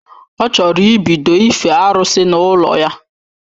Ọ chọrọ ịbido ife arụsị n’ụlọ ya